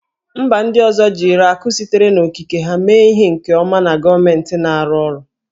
Mba ndị ọzọ jiri akụ sitere n'okike ha mee ihe nke ọma na gọọmentị na-arụ ọrụ